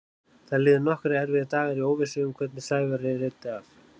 Það liðu nokkrir erfiðir dagar í óvissu um hvernig Sævari reiddi af.